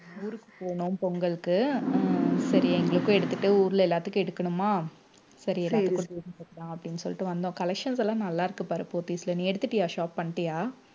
ஊருக்கு போகணும் பொங்கலுக்கு ஹம் சரி எங்களுக்கும் எடுத்துட்டு ஊர்ல எல்லாத்துக்கும் எடுக்கணுமா சரி எல்லாருக்கும் அப்படின்னு சொல்லிட்டு வந்தோம் collections லாம் நல்லா இருக்கு பாரு போத்தீஸ்ல நீ எடுத்துட்டியா shop பண்ணிட்டியா